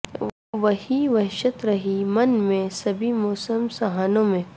وہ ہی وحشت رہی من میں سبھی موسم سہانوں میں